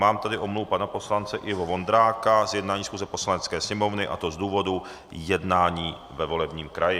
Mám tady omluvu pana poslance Iva Vondráka z jednání schůze Poslanecké sněmovny, a to z důvodu jednání ve volebním kraji.